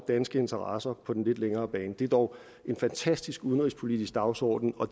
danske interesser på den lidt længere bane det er dog en fantastisk udenrigspolitisk dagsorden og